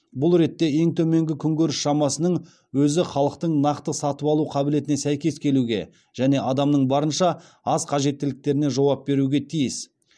бұл ретте ең төменгі күнкөріс шамасының өзі халықтың нақты сатып алу қабілетіне сәйкес келуге және адамның барынша аз қажеттіліктеріне жауап беруге тиіс